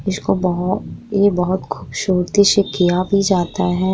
इसको बहो ये बहोत खूबसूरती से किया भी जाता है।